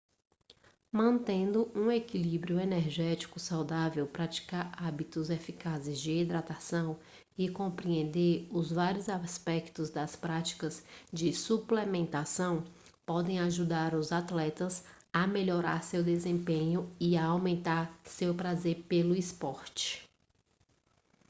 mantendo um equilíbrio energético saudável praticar hábitos eficazes de hidratação e compreender os vários aspectos das práticas de suplementação podem ajudar os atletas a melhorar seu desempenho e a aumentar seu prazer pelo esporte